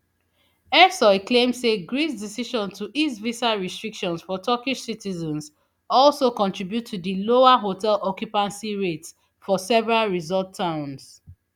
ersoy claim say greece decision to ease visa restrictions for turkish citizens also contribute to di lower hotel occupancy rates for several resort towns